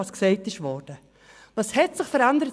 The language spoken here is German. Was hat sich seit 2008 verändert?